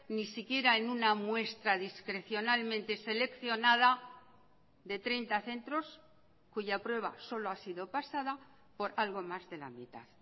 ni siquiera en una muestra discrecionalmente seleccionada de treinta centros cuya prueba solo ha sido pasada por algo más de la mitad